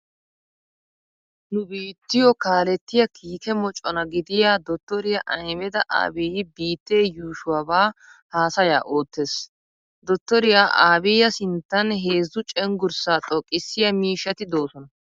Nu biittiyo kaalettiya kiike mocona gidiya dottoriya Ahimeda Abiyyi biittee yuushuwabaa haasayaa oottees. Dottoriya Abiyya sinttan heezzu cenggurssaa xoqqissiya miishshati doosona.